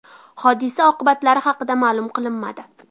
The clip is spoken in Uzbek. Hodisa oqibatlari haqida ma’lum qilinmadi.